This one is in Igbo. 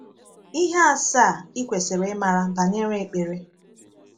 Ihe Asaa Ị Kwesịrị Ịmara Banyere Ekpere.